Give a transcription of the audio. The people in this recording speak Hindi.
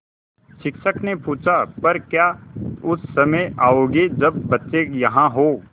शिक्षक ने पूछा पर क्या उस समय आओगे जब बच्चे यहाँ हों